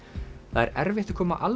það er erfitt að koma alveg